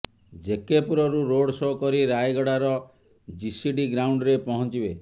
ଜେକେପୁରରୁ road show କରି ରାୟଗଡାର GCD ଗ୍ରାଉଣ୍ଡରେ ପହଞ୍ଚିବେ